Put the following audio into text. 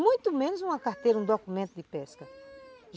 Muito menos uma carteira, um documento de pesca.